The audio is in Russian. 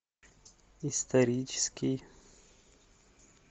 исторический